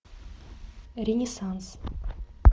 ренессанс